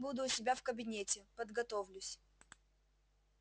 буду у себя в кабинете подготовлюсь